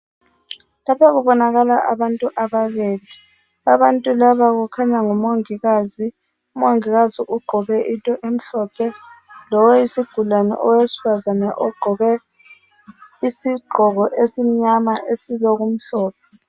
Lapha kubonakala abantu ababili abantu laba kukhanya ngumongikazi, umongikazi ugqoke into emhlophe lo owesigulane owesifazana ugqoke isigqoko esimnyama esilokumhlophe.